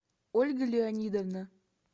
ольга леонидовна